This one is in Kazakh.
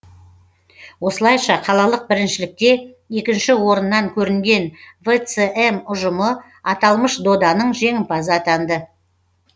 осылайша қалалық біріншілікте екінші орыннан көрінген вцм ұжымы аталмыш доданың жеңімпазы атанды